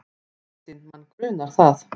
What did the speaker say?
Kristín: Mann grunar það.